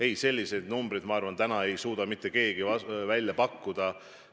Ei, selliseid numbreid, ma arvan, täna ei suuda mitte keegi välja pakkuda.